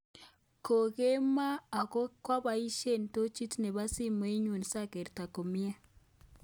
Kokemboi ako koabaisye tochit nebo simenyu sagerto komye